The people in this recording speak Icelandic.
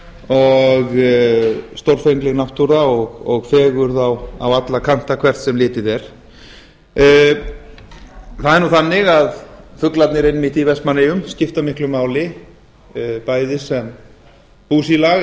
og stórfengleg náttúra og fegurð á alla hana hvert sem litið er það er nú þannig að fuglarnir einmitt í vestmannaeyjum skipta miklu máli bæði sem búsílag